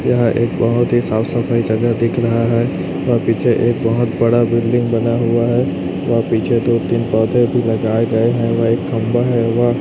यह एक बहुत ही साफ सफाई का जगह दिख रहा है और पीछे एक बहुत बड़ा बिल्डिंग बना हुआ है व पीछे दो तीन पौधे भी लगाए गए है व एक खंभा है वह --